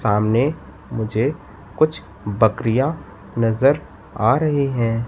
सामने मुझे कुछ बकरियां नजर आ रही हैं।